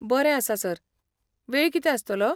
बरें आसा, सर, वेळ कितें आसतलो?